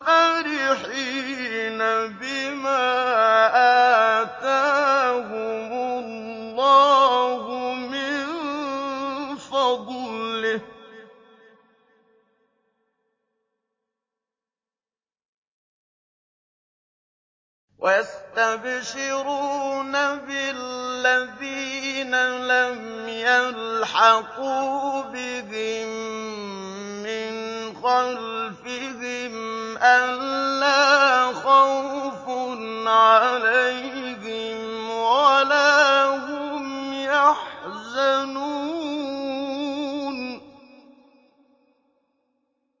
فَرِحِينَ بِمَا آتَاهُمُ اللَّهُ مِن فَضْلِهِ وَيَسْتَبْشِرُونَ بِالَّذِينَ لَمْ يَلْحَقُوا بِهِم مِّنْ خَلْفِهِمْ أَلَّا خَوْفٌ عَلَيْهِمْ وَلَا هُمْ يَحْزَنُونَ